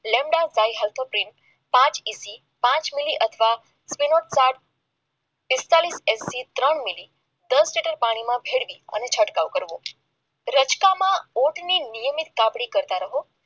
lambda ભાઈ પાંચ પીસી પાંચ મિલી અથવા સાત પાંચ પચાસ એસી ત્રણ મિલી પાણીમાં ભેળવીને છંટકાવ કરવો રસ્તામાં ઊંટ એની નીચે આપણે કાચા રહો